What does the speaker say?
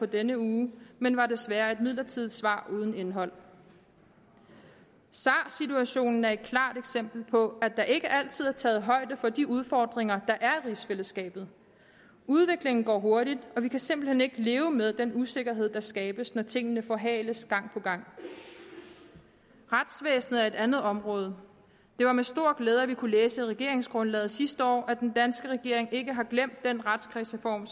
denne uge men var desværre et midlertidigt svar uden indhold sar situationen er et klart eksempel på at der ikke altid er taget højde for de udfordringer der er i rigsfællesskabet udviklingen går hurtigt og vi kan simpelt hen ikke leve med den usikkerhed der skabes når tingene forhales gang på gang retsvæsenet er et andet område det var med stor glæde at vi kunne læse i regeringsgrundlaget sidste år at den danske regering ikke har glemt den retskredsreform